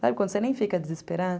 Sabe quando você nem fica a desesperar?